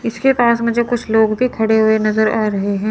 किसके पास मुझे कुछ लोग भी खड़े हुए नजर आ रहे हैं।